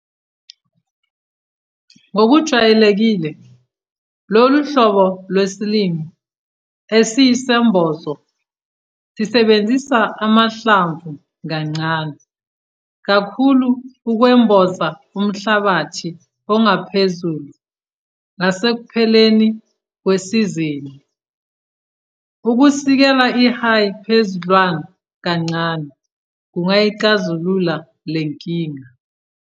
Ngokujwayelekile lolu hlobo lwesilimo esiyisembozo sisebenzisa amahlmvu kancane kakhulue ukwemboza umhlabathi ongaphezulu ngasekupheleni kwesizini. Ukusikela i-hay, phezuldlwana kancane kungayixazulula le nkinga.